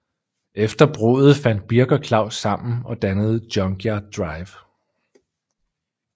Efter bruddet fandt Birk og Claus sammen og dannede Junkyard Drive